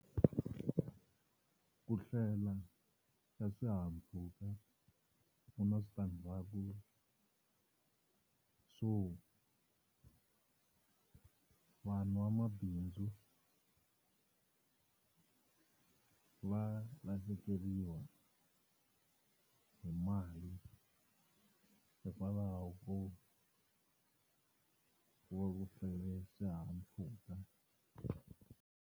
Ku hlwela xa swihahampfhuka ku na switandzhaku swo vanhu vamabindzu va lahlekeriwa hi mali hikwalaho ko swihahampfhuka.